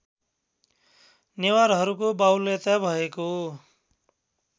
नेवारहरूको वाहुल्यता भएको